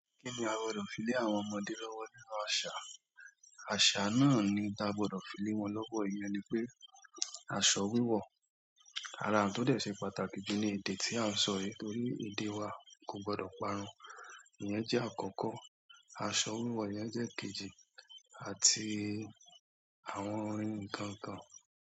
Kíni a gbọdọ̀ fi lé àwọn ọmọdé lọ́wọ́ nínú àṣà? Àṣà náà ni n ta gbọdọ̀ fi lé wọn lọ́wọ́, ìyẹn ni pé aṣọ wíwọ̀. Ara n to dẹ se pàtàkì ju ni èdè ti a n sọ yi torí èdè wa ko gbọdọ parun. Ìyẹn jẹ́ àkọ́kọ́. Aṣọ wíwọ̀, ìyẹn jẹ́ kejì àti àwọn n kọ̀ọ̀kan.